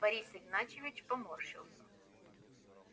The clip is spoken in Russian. борис игнатьевич поморщился